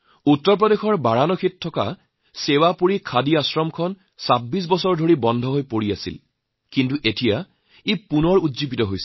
উত্তৰ প্ৰদেশৰ বাৰাণসীৰ সেৱাপুৰীৰ এক খাদী আশ্ৰম ২৬ বছৰ ধৰি বন্ধ হৈ পৰিছিল কিন্তু আজি সেয়া পুনৰুজ্জীৱিত হৈছে